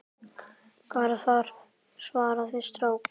Garðar svarar strax.